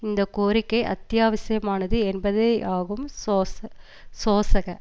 இந்த கோரிக்கை அத்தியாவசியமானது என்பதேயாகும் சோச சோசக